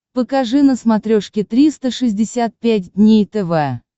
покажи на смотрешке триста шестьдесят пять дней тв